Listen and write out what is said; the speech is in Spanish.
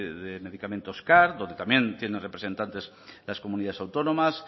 de medicamentos car donde también tienen representantes las comunidades autónomas